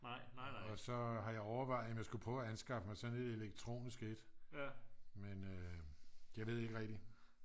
og så har jeg overvejet om jeg skulle prøve at anskaffe mig sådan et elektronisk et men jeg ved ikke rigtig